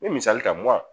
Me misali ta